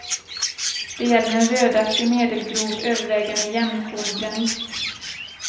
Det gäller en rödaktig, medelgrov, övervägande jämnkornig granit.